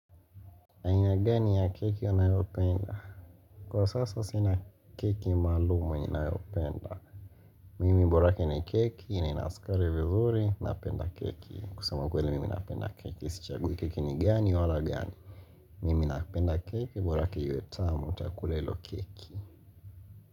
Aina gani ya keki unayopenda? Kwa sasa sina keki maalumu ninayopenda Mimi borake ni keki na ina sukari vizuri, napenda keki kusema ukweli mimi napenda keki, sichagui keki ni gani, wala gani Mimi napenda keki, borake iwe tamu, nitakula hilo keki.